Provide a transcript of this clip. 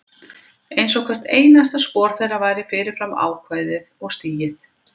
Einsog hvert einasta spor þeirra væri fyrir fram ákveðið og stigið.